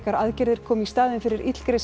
aðgerðir koma í staðinn fyrir